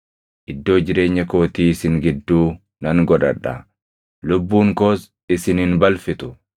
Iddoo jireenya kootii isin gidduu nan godhadha; lubbuun koos isin hin balfitu.